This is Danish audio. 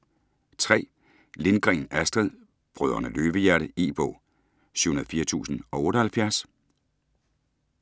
Lindgren, Astrid: Brødrene Løvehjerte E-bog 704078